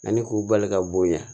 Ani k'u bali ka bonya